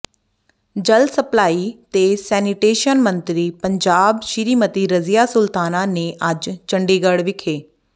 ਜਲ ਸਪਲਾਈ ਤੇ ਸੈਨੀਟੇਸ਼ਨ ਮੰਤਰੀ ਪੰਜਾਬ ਸ੍ਰੀਮਤੀ ਰਜ਼ੀਆ ਸੁਲਤਾਨਾ ਨੇ ਅੱਜ ਚੰਡੀਗੜ੍ਹ ਵਿਖੇ